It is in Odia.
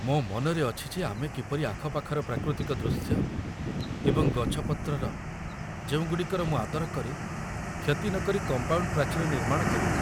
ମୋ ମନରେ ଅଛି ଯେ ଆମେ କିପରି ଆଖପାଖର ପ୍ରାକୃତିକ ଦୃଶ୍ୟ ଏବଂ ଗଛପତ୍ରର, ଯେଉଁଗୁଡ଼ିକର ମୁଁ ଆଦର କରେ, କ୍ଷତି ନକରି କମ୍ପାଉଣ୍ଡ୍ ପ୍ରାଚୀର ନିର୍ମାଣ କରିବୁ